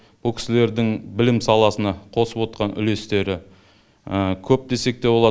бұл кісілердің білім саласына қосып отқан үлестері көп десек те болады